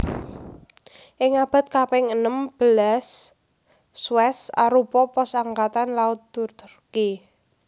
Ing abad kaping enem belas Suèz arupa pos Angkatan Laut Turki